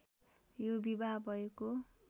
यो विवाह भएको